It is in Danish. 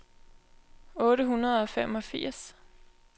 otte hundrede og femogfirs